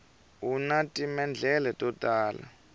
una timendlele to tala